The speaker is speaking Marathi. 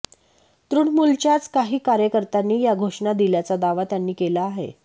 तृणमुलच्याच काहीं कार्यकर्त्यांनी या घोषणा दिल्याचा दावा त्यांनी केला आहे